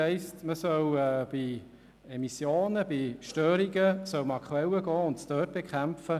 Man soll für die Reduktion von Emissionen oder Störungen an die Quelle gehen.